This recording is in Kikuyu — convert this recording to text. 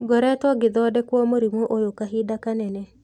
Ngoretwo ngĩthodekwo mũrimũ oyũ kahinda kanene.